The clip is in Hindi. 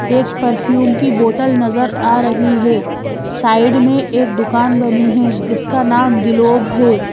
एक परफ्यूम की बोतल नजर आ रही है साइड में एक दुकान बनी है जिसका नाम ग्लोब है।